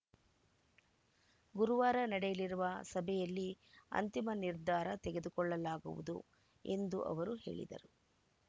ಗುರುವಾರ ನಡೆಯಲಿರುವ ಸಭೆಯಲ್ಲಿ ಅಂತಿಮ ನಿರ್ಧಾರ ತೆಗೆದುಕೊಳ್ಳಲಾಗುವುದು ಎಂದು ಅವರು ಹೇಳಿದರು